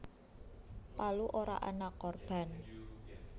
Palu ora ana korban